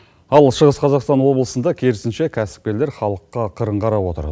ал шығыс қазақстан облысында керісінше кәсіпкерлер халыққа қырын қарап отыр